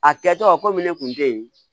A kɛtɔ komi ne kun te yen